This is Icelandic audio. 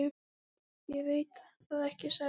Ég veit það ekki, sagði hann.